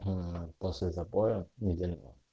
после запоя неделю